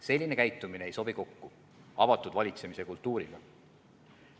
Selline käitumine ei sobi kokku avatud valitsemise kultuuriga.